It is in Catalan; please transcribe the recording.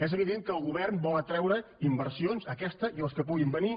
és evident que el govern vol atreure inversions aquesta i les que puguin venir